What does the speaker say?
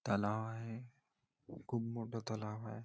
तलाव आहे. खूप मोठ तलाव आहे.